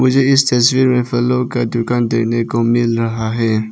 मुझे इस तस्वीर में फलों का दुकान देखने को मिल रहा है।